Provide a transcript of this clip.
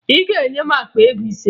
Ị ga-enye m akpa ego ise!